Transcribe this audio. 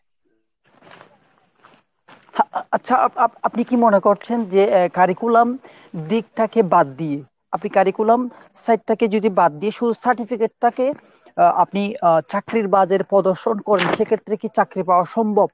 আচ্ছা আপ~ আপনি কি মনে করছেন যে curriculum দিকটাকে বাদ দিয়ে আপনি curriculum side টাকে যদি বাদ দিয়ে শুধু certificate টাকে আহ আপনি আহ চাকরির বাজারে প্রদর্শন করেন সেক্ষেত্রে কি চাকরি পাওয়া সম্ভব?